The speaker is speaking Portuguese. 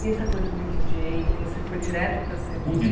E essa coisa de Di dJei, você foi direto para ser Di dJei?